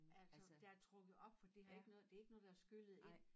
Altså der er trukket op for det har ikke noget det ikke noget der er skyllet ind